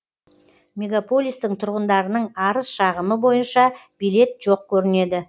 мегаполистің тұрғындарының арыз шағымы бойынша билет жоқ көрінеді